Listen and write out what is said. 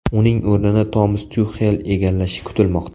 Uning o‘rnini Tomas Tuxel egallashi kutilmoqda.